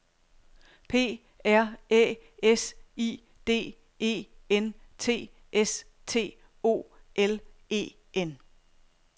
P R Æ S I D E N T S T O L E N